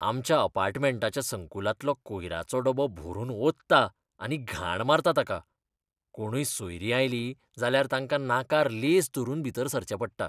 आमच्या अपार्टमेंटाच्या संकुलांतलो कोयराचो डबो भरून ओंतता आनी घाण मारता ताका. कोणूय सोयरीं आयलीं जाल्यार तांकां नाकार लेंस धरून भीतर सरचें पडटा.